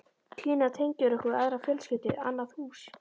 Gína tengir okkur við aðra fjölskyldu, annað hús.